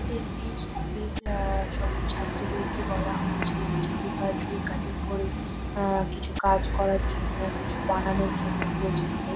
এটা একটি স্কুল -এর আহ সব ছাত্রদেরকে বলা হয়েছে কিছু পেপার দিয়ে কাটিং করে আহ কিছু কাজ করার জন্য কিছু বানানোর জন্য প্রজেক্ট -এর।